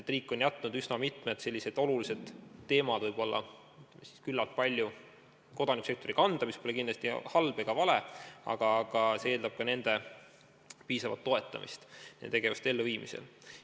Riik on jätnud üsna mitmed olulised teemad küllalt palju kodanikusektori kanda, mis pole kindlasti halb ega vale, aga see eeldab ka nende piisavat toetamist nende tegevuste elluviimisel.